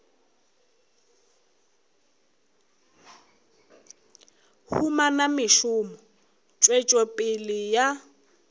humana mešomo tswetšo pele ya